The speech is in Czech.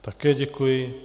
Také děkuji.